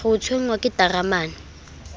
re o tshwenngwa ke ntaramane